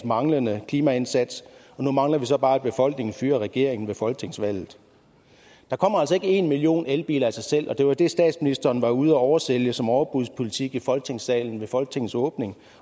manglende klimaindsats og nu mangler vi så bare at befolkningen fyrer regeringen ved folketingsvalget der kommer altså ikke en million elbiler af sig selv og det var det statsministeren var ude at oversælge som overbudspolitik i folketingssalen ved folketingets åbning